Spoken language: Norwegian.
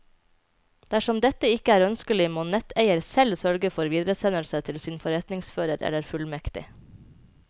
Dersom dette ikke er ønskelig, må netteier selv sørge for videresendelse til sin forretningsfører eller fullmektig.